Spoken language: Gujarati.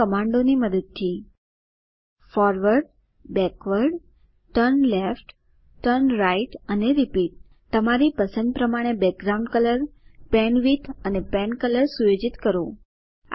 આ કમાન્ડોની મદદથી ફોરવર્ડ બેકવર્ડ ટર્નલેફ્ટ ટર્નરાઇટ અને રિપીટ તમારી પસંદ પ્રમાણે બેકગ્રાઉન્ડ કલર પેનવિડ્થ અને પેનકલર સુયોજિત કરો